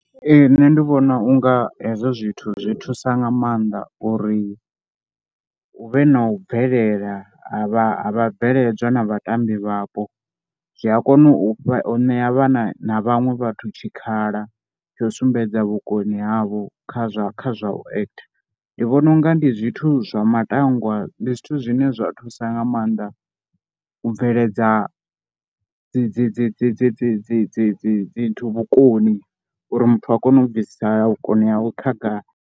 Ee, nṋe ndi vhona u nga hezwo zwithu zwi thusa nga maanḓa uri hu vhe na u bvelela ha vha bveledzwa na vhatambi vhapo. Zwi a kona u ṋea vhana na vhaṅwe vhathu tshikhala tsha u sumbedza vhukoni havho kha zwa kha zwa u ekhitha. Ndi vhona u nga ndi zwithu zwa matangwa, ndi zwithu zwine zwa thusa nga maanḓa u bveledza dzi dzi dzi dzi dzi dzi dzi dzi dzi dzi vhukoni uri muthu a kone u bvisa vhukoni hawe khagala.